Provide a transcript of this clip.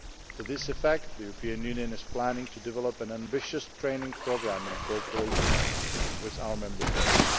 To this effect, the European Union is planning to develop an ambitious training programme in cooperation with our Member States.